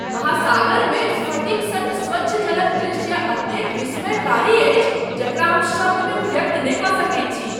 महासागरमे स्फटिक सन स्वच्छ जलक दृश्य एतेक विस्मयकारी अछि जेकरा हम शब्दमे व्यक्त नहि कऽ सकैत छी।